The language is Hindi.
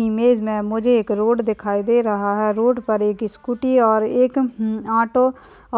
इमेज मेंमुझे एक रोड दिखाई -दे रहा है रोड पर एक स्कूटी और एकऑटो